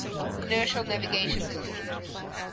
inertial navigation systems